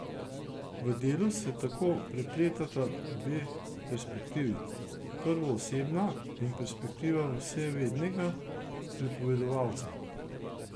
V delu se tako prepletata dve perspektivi, prvoosebna in perspektiva vsevednega pripovedovalca.